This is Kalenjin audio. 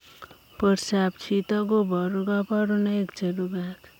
Portoop chitoo kobaruu kabarunaik cherubei ak